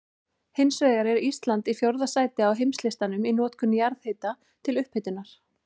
Hins vegar er Ísland í fjórða sæti á heimslistanum í notkun jarðhita til upphitunar.